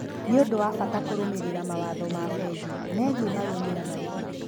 Nĩ ũndũ wa bata kũrũmĩrĩra mawatho ma bengi megiĩ marũni na marĩhi.